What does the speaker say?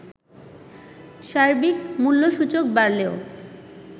সার্বিক মূল্যসূচক বাড়লেও